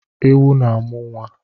Ewu na-amụ nwa